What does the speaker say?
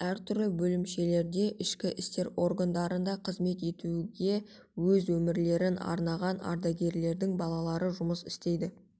әр түрлі бөлімшелерде ішкі істер органдарында қызмет өткеруге өз өмірлерін арнаған ардагерлердің балалары жұмыс істеуде